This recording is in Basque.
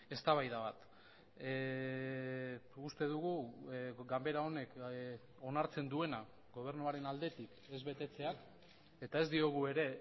eztabaida bat uste dugu ganbera honek onartzen duena gobernuaren aldetik ez betetzeak eta ez diogu ere